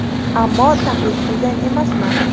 Ammo taqlid qilgan emasman.